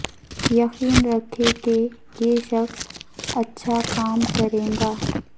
یقین رکھیں کہ یہ شخص اچھا کام کرے گا